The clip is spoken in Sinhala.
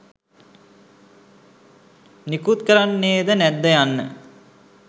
නිකුත් කරන්නේද නැද්ද යන්න